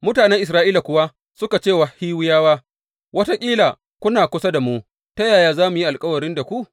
Mutanen Isra’ila kuwa suka ce wa Hiwiyawa, Wataƙila kuna kusa da mu, ta yaya za mu yi alkawari da ku?